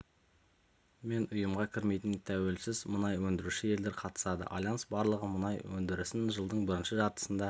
мен ұйымға кірмейтін тәуелсіз мұнай өндіруші елдер қатысады альянс барлығы мұнай өндірісін жылдың бірінші жартысында